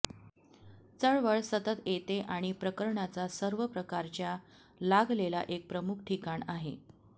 चळवळ सतत येते आणि प्रकरणाचा सर्व प्रकारच्या लागलेला एक प्रमुख ठिकाण आहे